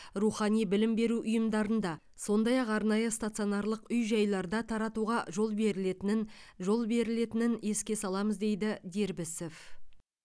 рухани білім беру ұйымдарында сондай ақ арнайы стационарлық үй жайларда таратуға жол берілетінін жол берілетінін еске саламыз дейді дербісов